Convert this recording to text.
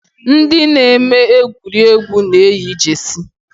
Ndị na-eme egwuregwu na-eyi Jeesi